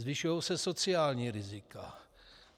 Zvyšují se sociální rizika.